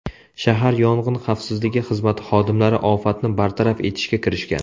Shahar yong‘in xavfsizligi xizmati xodimlari ofatni bartaraf etishga kirishgan.